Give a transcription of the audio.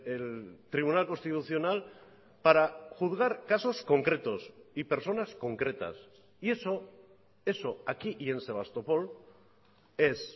el tribunal constitucional para juzgar casos concretos y personas concretas y eso eso aquí y en sebastopol es